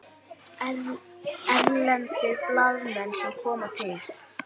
Erlendir blaðamenn sem koma til